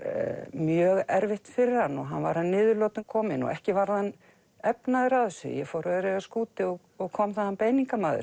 mjög erfitt fyrir hann og hann var að niðurlotum kominn og ekki varð hann efnaður af þessu ég fór öreigi á skútu og og kom þaðan